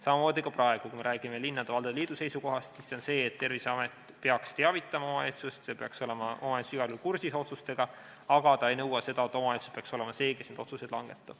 Samamoodi ka praegu, kui me räägime linnade ja valdade liidu seisukohast, siis see on see, et Terviseamet peaks teavitama omavalitsust, omavalitsus peaks olema igal juhul kursis otsustega, aga nad ei nõua seda, et omavalitsus peaks olema see, kes need otsused langetab.